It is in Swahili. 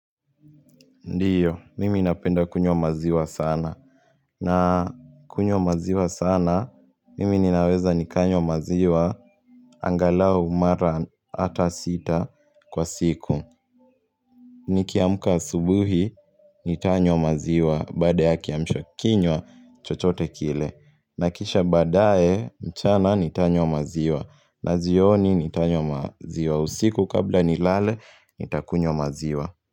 Ndiyo, mimi napenda kunywa maziwa sana. Nakunywa maziwa sana, mimi ninaweza nikanywa maziwa. Angalau mara hata sita kwa siku. Nikiamka asubuhi, nitanywa maziwa. Baada ya kiamshakinywa, chochote kile. Na kisha badae, mchana, nitanywa maziwa. Na jioni, nitanywa maziwa. Usiku kabla nilale, nitakunywa maziwa.